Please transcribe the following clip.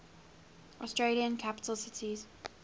australian capital cities